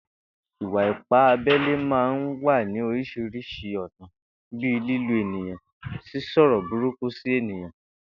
Ìwà-ipá abé̩lé máa ń wá ní orís̩irís̩i ò̩nà bíi lílu èèyàn, sísò̩rò̩ burúkú sí èèyàn